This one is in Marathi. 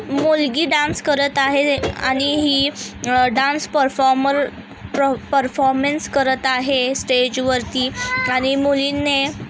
मुलगी डान्स करत आहे आणि हि डान्स परफॉर्मर परफॉर्मन्स करत आहे स्टेज वरती आणि मुलीने--